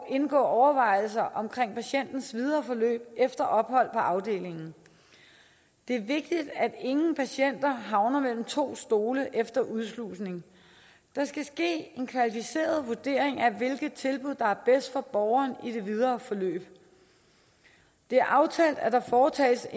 indgå overvejelser omkring patientens videre forløb efter ophold på afdelingen det er vigtigt at ingen patienter havner mellem to stole efter udslusning der skal ske en kvalificeret vurdering af hvilke tilbud der er bedst for borgeren i det videre forløb det er aftalt at der foretages